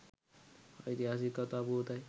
ඓතිහාසික කථා පුවතයි.